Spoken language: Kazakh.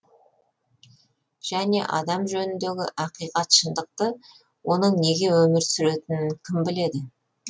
және адам жөніндегі ақиқат шындықты оның неге өмір сүретінін кім біледі